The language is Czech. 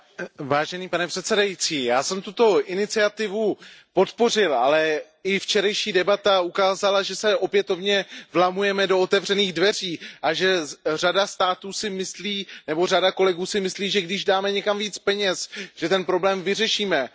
Já jsem tuto iniciativu podpořil, ale i včerejší debata ukázala, že se opětovně vlamujeme do otevřených dveří a že řada států si myslí nebo řada kolegů si myslí, že když dáme někam více peněz, že ten problém vyřešíme, ale ten problém nevyřešíme.